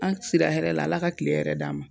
An sira hɛrɛ la, Ala ka tile hɛrɛ d'an ma.